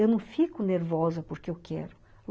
Eu não fico nervosa porque eu quero.